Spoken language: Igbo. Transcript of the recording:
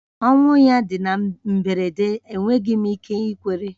Ọnwụ ya dị na mberede, enweghị m ike ikwere